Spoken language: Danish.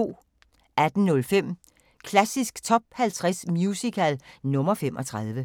18:05: Klassisk Top 50 Musical – nr. 35